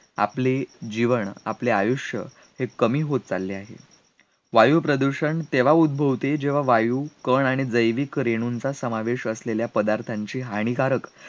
आपले जीवन आपले आयुष्य हे कमी होत चालले आहे वायुप्रदूषण तेव्हा उद्भवते जेव्हा वायू, कण, आणि जयविक रेणूंचा समावेश असलेल्या पदार्थांची हानीकारक,